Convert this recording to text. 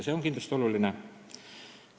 See on kindlasti oluline.